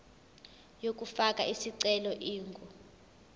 yokufaka isicelo ingu